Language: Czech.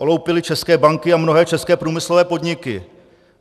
Oloupili české banky a mnohé české průmyslové podniky.